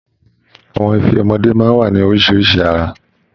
Àwọn ife ọmọdé máa ń wá ní oríṣi àrà